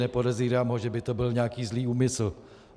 Nepodezírám ho, že by to byl nějaký zlý úmysl.